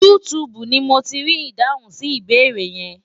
YouTube ni mo ti rí ìdáhùn sí ìbéèrè yẹn.